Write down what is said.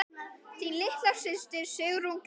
Þín litla systir, Sigrún Gréta.